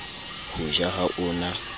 ho ja ha o na